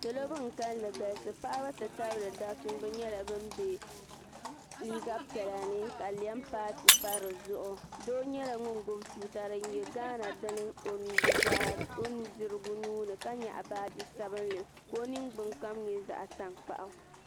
salo ban kalinli galisi paɣ' n ti tabili daba nyɛla bɛni bɛ liga piɛla ni ka lɛmi paatɛ pa di zuɣ do nyɛla ŋɔ gbabi tuuta di nyɛ gana dini o nuudirigu ka nyɛgi baaji sabinli ka o nɛgbani kam nyɛ zaɣitanokpagu